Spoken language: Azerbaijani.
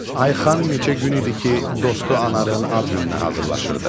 Ayxan neçə gün idi ki, dostu Anarın ad gününə hazırlaşırdı.